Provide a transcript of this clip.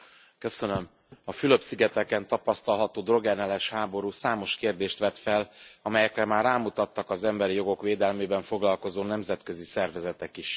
Elnök Úr! A Fülöp szigeteken tapasztalható drogellenes háború számos kérdést vet fel, amelyekre már rámutattak az emberi jogok védelmével foglalkozó nemzetközi szervezetek is.